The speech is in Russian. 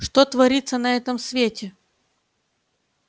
что творится на этом свете